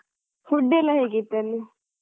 Food ಯೆಲ್ಲ ಹೇಗಿತ್ತು ಅಲ್ಲಿ?